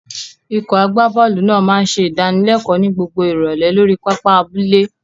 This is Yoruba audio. Ikọ̀ agbábọ́ọ̀lù náà máa ń ṣe ìdánilẹ́kọ̀ọ́ ní gbogbo ìrọ̀lẹ́ lórí pápá abúlé.